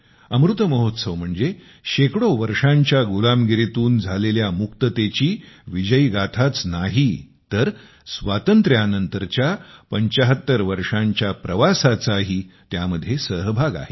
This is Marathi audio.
अमृत महोत्सव म्हणजे शेकडो वर्षांच्या गुलामगिरीतून झालेल्या मुक्ततेची विजयी गाथाच आहे असे नाही तर स्वातंत्र्यानंतरच्या 75 वर्षांच्या प्रवासाचाही त्यामध्ये सहभाग आहे